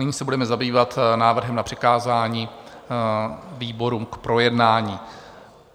Nyní se budeme zabývat návrhem na přikázání výborům k projednání.